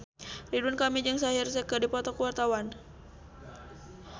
Ridwan Kamil jeung Shaheer Sheikh keur dipoto ku wartawan